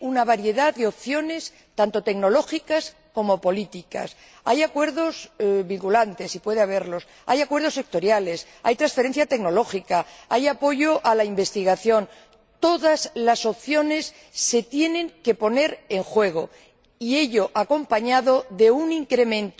una variedad de opciones tanto tecnológicas como políticas. Hay acuerdos vinculantes y puede haberlos, hay acuerdos sectoriales, hay transferencia tecnológica, hay apoyo a la investigación. Todas las opciones se tienen que poner en juego, y ello acompañado de un incremento